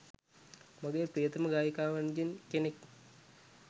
මගේ ප්‍රියතම ගායිකාවන්ගෙන් කෙනෙක්